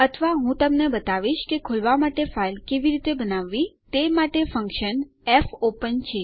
અથવા હું તમને બતાવીશ કે ખોલવા માટે ફાઈલ કેવી રીતે બનાવવી તે માટે ફન્કશન ફોપેન છે